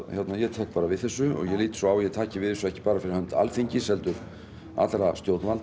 ég tek við þessu ég lít svo á að ég taki við þessu ekki bara fyrir hönd Alþingis heldur allra stjórnvalda